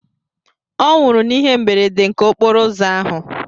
Ọnwụrụ n'ihe mberede nke okporo ụzọ ahụ